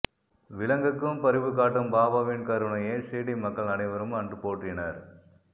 விலங்குக்கும் பரிவுகாட்டும் பாபாவின் கருணையை ஷீர்டி மக்கள் அனைவரும் அன்று போற்றினர்